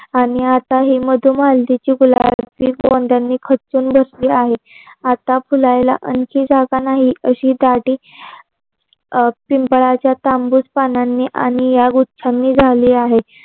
आणि आता ही मधुमालतीची गुलाबी गोंड्यानी खचून बसलेली आहे. आता फुलायला आणखी जागा नाही. अशी दाटी पिंपळाच्या तांबूस पानांनी आणि या वृक्षांनी झाली आहे.